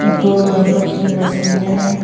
दो रनप की मशीनें हैं।